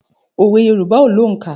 Òwe Yorùbá ò lóǹkà.